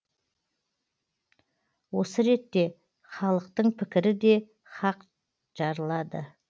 осы ретте халықтың пікірі де қақ жарылады